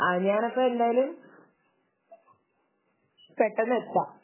അത് ഞാനപ്പോ എന്തായാലും പെട്ടെന്ന് എത്താം